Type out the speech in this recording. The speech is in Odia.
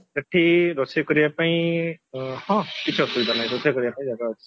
ସେଠି ରୋଷେଇ କରିବା ପାଇଁ ହଁ କିଛି ଅସୁବିଧା ନାହିଁ ରୋଷେଇ କରିବା ପାଇଁ ଜାଗା ଅଛି